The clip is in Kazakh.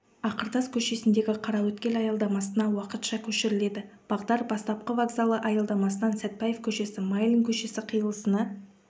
ақыртас көшесіндегі қараөткел аялдамасына уақытша көшіріледі бағдар бастапқы вокзалы аялдамасынан сәтпаев көшесі майлин көшесі қиылысына